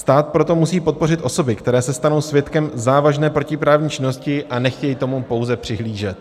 Stát proto musí podpořit osoby, které se stanou svědkem závažné protiprávní činnosti a nechtějí tomu pouze přihlížet.